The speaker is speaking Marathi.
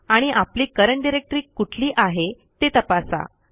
आणि आपली करंट डायरेक्टरी कुठली आहे ते तपासा